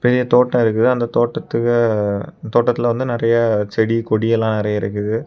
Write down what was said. பெரிய தோட்டம் இருக்குது அந்த தோட்டதுக்கு தோட்டத்துல வந்து நெறைய செடி கொடி எல்லாம் நெறைய இருக்குது.